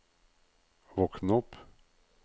våkn opp